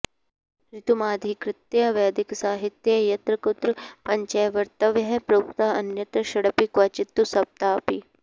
ऋतुमधिकृत्य वैदिकसाहित्ये यत्र कुत्र पञ्चैवर्तवः प्रोक्ता अन्यत्र षडपि क्वचित्तु सप्ताऽपि